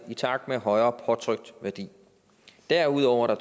i takt med højere påtrykt værdi derudover er